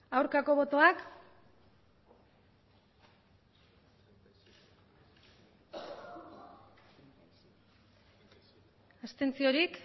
aurkako botoak abstentzioak